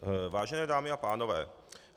Vážené dámy a pánové.